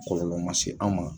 Kɔlɔlɔ ma se an ma